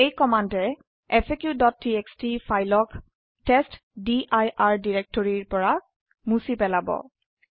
এই কমান্ডে faqটিএক্সটি ফাইল ক টেষ্টডিৰ ডিৰেক্টৰৰি পৰা মুছি পেলাব